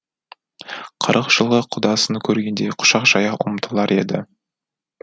қырық жылғы құдасын көргендей құшақ жая ұмтылар еді